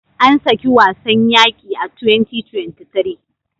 Ansaki wasn yaqi a 2023